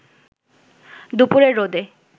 দুপুরের রোদে